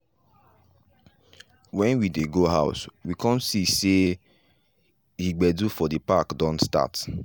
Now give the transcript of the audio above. when we dey go house we come see say he gbedu for the park don start.